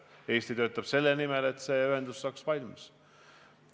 Eesti töötab selle nimel, et see ühendus valmiks.